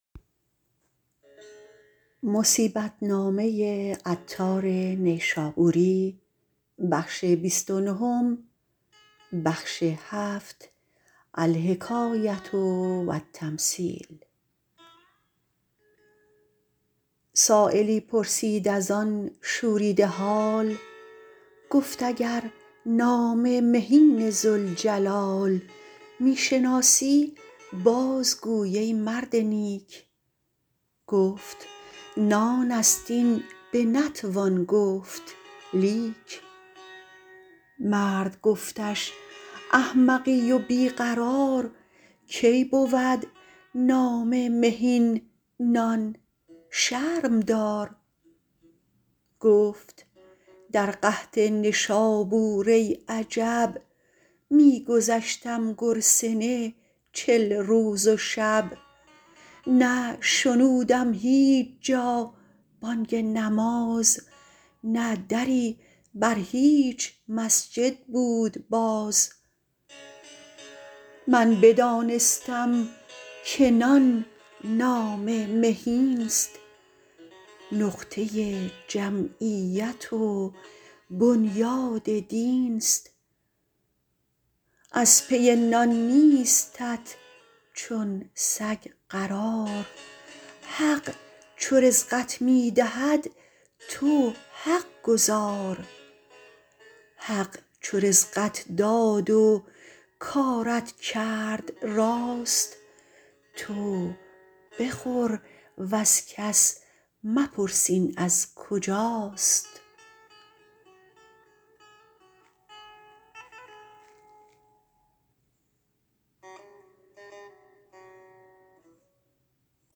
سایلی پرسید از آن شوریده حال گفت اگر نام مهین ذوالجلال می شناسی بازگوی ای مرد نیک گفت نان است این بنتوان گفت لیک مرد گفتش احمقی و بی قرار کی بود نام مهین نان شرم دار گفت در قحط نشابور ای عجب می گذشتم گرسنه چل روز و شب نه شنودم هیچ جا بانگ نماز نه دری بر هیچ مسجد بود باز من بدانستم که نان نام مهینست نقطه جمعیت و بنیاد دینست از پی نان نیستت چون سگ قرار حق چو رزقت می دهد تو حق گزار حق چو رزقت داد و کارت کرد راست تو بخور وز کس مپرس این از کجاست